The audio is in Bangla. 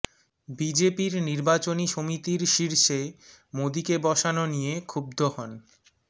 বিজেপির নির্বাচনী সমিতির শীর্ষে মোদীকে বসানো নিয়ে ক্ষুব্ধ হন